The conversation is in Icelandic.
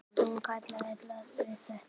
Hún kann illa við þetta.